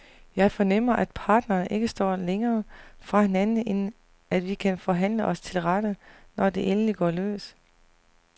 Jeg fornemmer, at parterne ikke står længere fra hinanden, end at vi kan forhandle os til rette, når det endelig går løs.